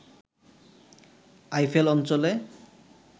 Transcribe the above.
Eiffel অঞ্চলে